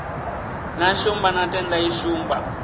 na shumba na tendai shumba